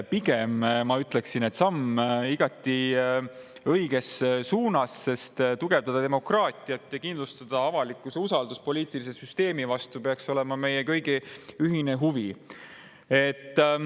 Pigem, ma ütleksin, on see samm õiges suunas, sest demokraatia tugevdamine ja avalikkuse usaldus poliitilise süsteemi vastu ja selle kindlustamine peaks olema meie kõigi ühine huvi.